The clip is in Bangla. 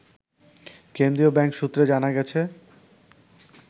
কেন্দ্রীয় ব্যাংক সূত্রে জানা গেছে